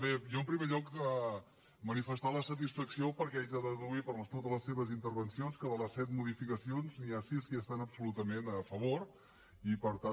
bé jo en primer lloc manifestar la satisfacció perquè haig de deduir per totes les seves intervencions que de les set modificacions n’hi ha sis que hi estan absolutament a favor i per tant